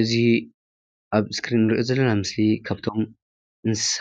እዚ ኣብ ስክሪን እንርእዮ ዘለና ምስሊ ካብቶም እንስሳ